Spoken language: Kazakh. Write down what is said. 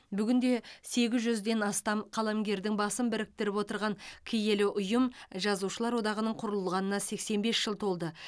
бүгінде сегіз жүзден астам қаламгердің басын біріктіріп отырған киелі ұйым жазушылар одағының құрылғанына сексен бес жыл толды